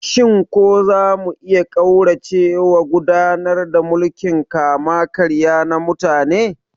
Shin za mu iya ƙauracewa gudanar da mulkin kama-karya na mutane?